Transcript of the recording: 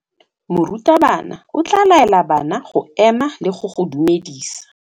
Morutabana o tla laela bana go ema le go go dumedisa.